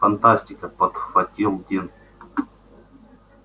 фантастика подхватил дин